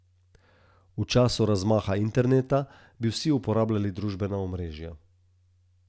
V času razmaha interneta bi vsi uporabljali družbena omrežja.